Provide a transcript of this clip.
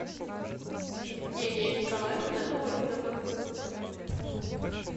евгения николаевна логинова